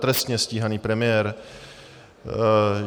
... trestně stíhaný premiér?